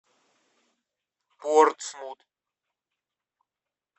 портсмут